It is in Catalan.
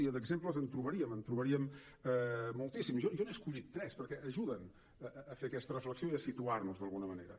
i d’exemples en trobaríem en trobaríem moltíssims jo n’he escollit tres perquè ajuden a fer aquesta reflexió i a situar nos d’alguna manera